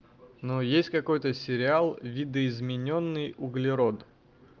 но есть какой-то сериал видоизменённый углерод